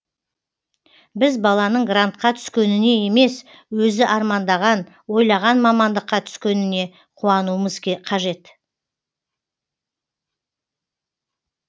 біз баланың грантқа түскеніне емес өзі армандаған ойлаған мамандыққа түскеніне қуануымыз қажет